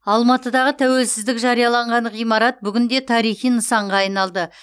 алматыдағы тәуелсіздік жарияланған ғимарат бүгінде тарихи нысанға айналды